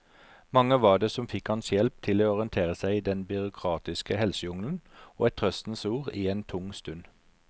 Mange var det som fikk hans hjelp til å orientere seg i den byråkratiske helsejungelen og et trøstens ord i en tung stund.